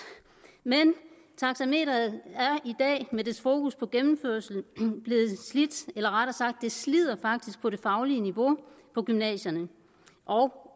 men taxameteret er i dag med dets fokus på gennemførelsen blevet slidt eller rettere sagt slider det faktisk på det faglige niveau på gymnasierne og